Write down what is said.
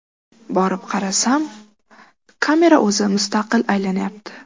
Borib qarasam, kamera o‘zi mustaqil aylanyapti.